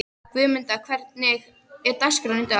Guðmunda, hvernig er dagskráin í dag?